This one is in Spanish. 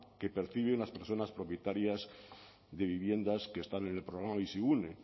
que perciben las personas propietarias de viviendas que están en el programa bizigune